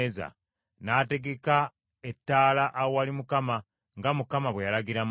n’ategeka ettaala awali Mukama , nga Mukama bwe yalagira Musa.